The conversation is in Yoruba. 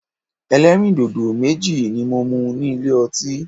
Ẹlẹ́rìndòdò méjì ni mo mu ní ilé ọtí.